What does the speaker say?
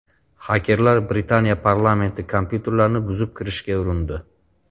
Xakerlar Britaniya parlamenti kompyuterlarini buzib kirishga urindi.